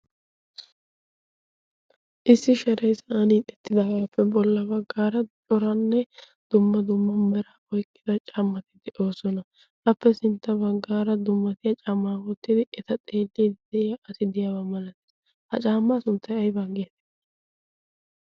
issi sharey sa'an ixxettidaagaappe bolla baggaara xoranne dumma dumma mera oyqqida cammati de'oosona etappe sintta baggaara dummatiya camaawoottidi eta xeelliidi de'iya asi deyaabaa malatiis. ha caammaa sunttai ay banggeetii?